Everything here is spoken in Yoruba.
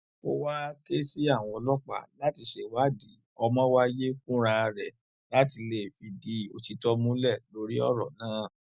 ó wàá ké sí àwọn ọlọpàá láti ṣèwádìí ọmọwáiye fúnra rẹ láti lè fìdí òtítọ múlẹ lórí ọrọ náà